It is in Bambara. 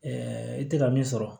i tɛ ka min sɔrɔ